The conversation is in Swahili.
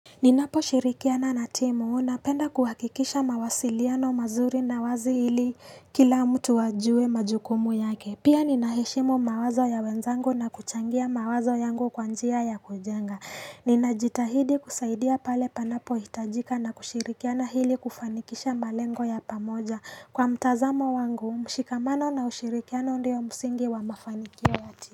Ninaposhirikiana na timu napenda kuhakikisha mawasiliano mazuri na wazi hili kila mtu ajue majukumu yake. Pia ninaheshimu mawazo ya wenzangu na kuchangia mawazo yangu kwa njia ya kujenga. Ninajitahidi kusaidia pale panapohitajika na kushirikiana ili kufanikisha malengo ya pamoja. Kwa mtazamo wangu, mshikamano na ushirikiana ndio msingi wa mafanikio ya timu.